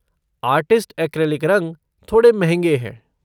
Artist acrylic रंग थोड़े महँगे हैं।